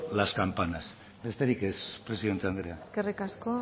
las campanas besterik ez presidente andrea eskerrik asko